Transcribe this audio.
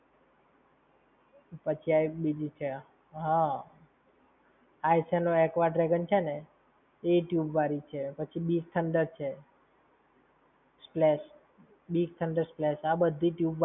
ફરી થી chill-n-freak છે, એ હવે pool છે. મસ્ત નાવનું એમાં. પછી આ એક બીજી છે આ, ~ નો Aqua Dragon છે ને, એ એ tube વાળી છે. પછી Bigthunder છે. splash, Big Thunder Splash આ બધી જ